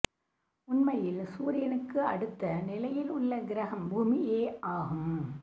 உண்மையில் சூரியனுக்கு அடுத்த நிலையில் உள்ள கிரகம் பூமியே ஆகும்